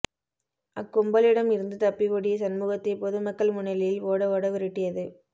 அக்கும்பலிடம் இருந்து தப்பி ஓடிய சண்முகத்தை பொதுமக்கள் முன்னிலையில் ஓட ஓட விரட்டியது